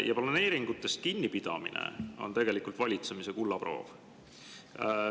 Ja planeeringutest kinnipidamine on tegelikult valitsemise kullaproov.